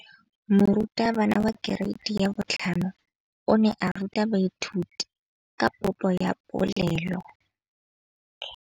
Moratabana wa kereiti ya 5 o ne a ruta baithuti ka popô ya polelô.